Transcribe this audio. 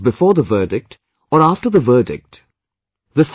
Whether it was before the verdict, or after the verdict